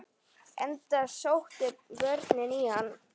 Enda sóttu börnin í hann.